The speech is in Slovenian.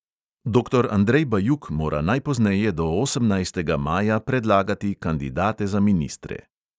Doktor andrej bajuk mora najpozneje do osemnajstega maja predlagati kandidate za ministre.